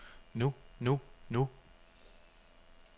nu nu nu